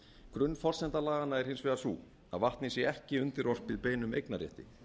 grunnforsenda laganna er hins vegar sú að vatnið sé ekki undirorpið beinum eignarrétti